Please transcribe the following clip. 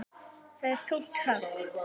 Það er þungt högg.